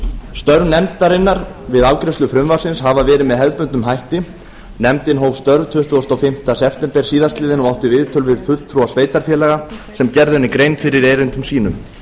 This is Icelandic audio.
störf nefndarinnar við afgreiðslu frumvarpsins hafa verið með hefðbundnum hætti nefndin hóf störf tuttugasta og fimmta september síðastliðinn og átti viðtöl við fulltrúa sveitarfélaga sem gerðu henni grein fyrir erindum sínum